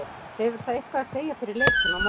Hefur það eitthvað að segja fyrir leikinn á morgun?